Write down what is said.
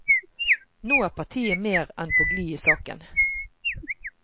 Nå er partiet mer enn på glid i saken.